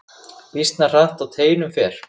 Býsna hratt á teinum fer.